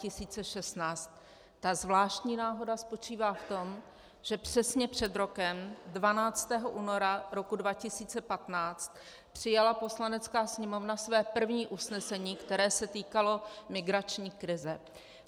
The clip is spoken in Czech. Ta zvláštní náhoda spočívá v tom, že přesně před rokem 12. února roku 2015 přijala Poslanecká sněmovna své první usnesení, které se týkalo migrační krize.